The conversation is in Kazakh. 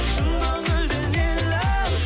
шын көңілден елім